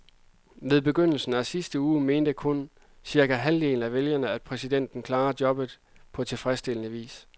Ved begyndelsen at sidste uge mente kun cirka halvdelen af vælgerne, at præsidenten klarede jobbet på tilfredstillende vis.